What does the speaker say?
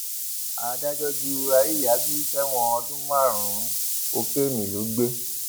adájọ ju àríyábí sẹwọn ọdún márùnún kokéènì lọ gbé